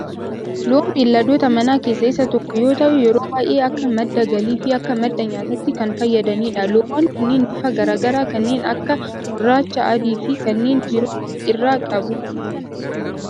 Loon beelladoota manaa keessaa isa tokko yoo ta'u yeroo baayyee akka madda galii fi akka madda nyaatatti kan fayyadanidha. Loowwan kunneen bifa garaa garaa kanneen akka gurraacha, adii fi kanneen biroo of irraa qabu.